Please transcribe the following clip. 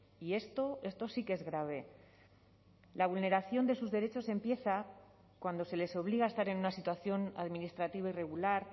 y esto esto sí que es grave la vulneración de sus derechos empieza cuando se les obliga a estar en una situación administrativa irregular